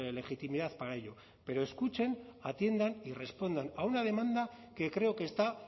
legitimidad para ello pero escuchen atiendan y respondan a una demanda que creo que está